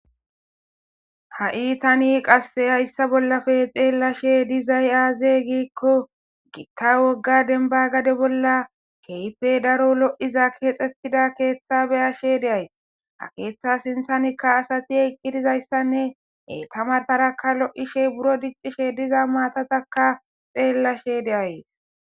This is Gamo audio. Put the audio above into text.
ha7i tani qasse hayssa bollafe xeellashe dizay aaze giikko gitta wogga denbagade bolla keype daro lo7iza keexxetida keeththa beyashe deays ha keeththa sinthanikka asati eqqidizayssanne etamataraka lo7ishe buro diccishe diza maatataka xeellashe deays